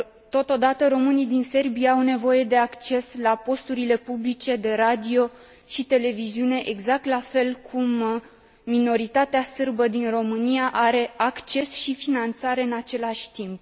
Totodată, românii din Serbia au nevoie de acces la posturile publice de radio și televiziune, exact la fel cum minoritatea sârbă din România are acces și finanțare în același timp!